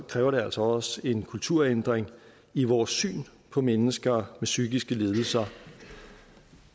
kræver det altså også en kulturændring i vores syn på mennesker med psykiske lidelser